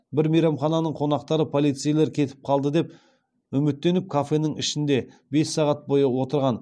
бір мейрамхананың қонақтары полицейлер кетіп қалады деп үміттеніп кафенің ішінде бес сағат бойы отырған